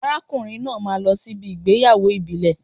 Arákùnrin náà máa lọ sí ibi ìgbéyàwó ìbílẹ̀